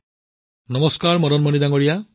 প্ৰধানমন্ত্ৰীঃ নমস্কাৰ নমস্কাৰ মদন মণি জী